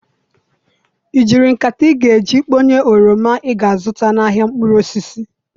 I jiri nkata ị ga-eji kponye oroma ị ga-azụta n'ahịa mkpụrụ osisi?